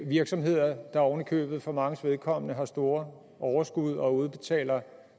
virksomheder der oven i købet for manges vedkommende har store overskud og udbetaler